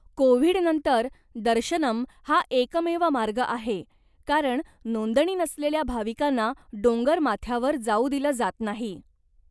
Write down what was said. COVID नंतर, दर्शनम हा एकमेव मार्ग आहे, कारण नोंदणी नसलेल्या भाविकांना डोंगरमाथ्यावर जाऊ दिलं जात नाही.